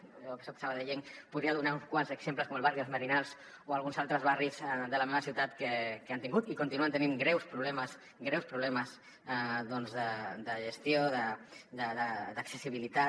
jo que soc sabadellenc podria donar uns quants exemples com el barri dels merinals o alguns altres barris de la meva ciutat que han tingut i continuen tenint greus problemes greus problemes de gestió d’accessibilitat